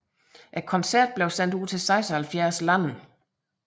Koncerten blev sendt ud til 76 lande